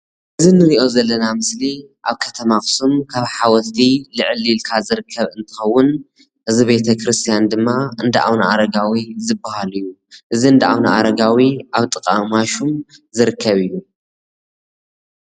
እዚ ንርእዮ ዘለና ምስሊ ኣብ ከተማ ኣክሱም ካብ ሓወልቲ ልዕል ኢልካ ዝርከብ እንትከውን እዚ ቤተ ክርስትያን ድማ ዳ ኣብነኣረጋዊ ዝበሃል እዩ። እዚ ዳ ኣብነኣረጋዊ ኣብ ጥቃ ማሹም ዝርከብ እዩ።